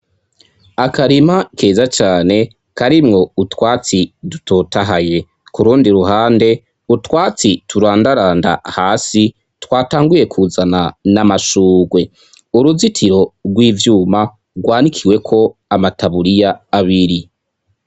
Akarima keza cane karimwo utwatsi dutotahaye, kurundi ruhande utwatsi turandaranda hasi twatanguye kuzana n'amashurwe, uruzitiro rw'ivyuma rwanikiweko amataburiya abiri.